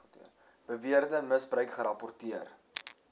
beweerde misbruik gerapporteer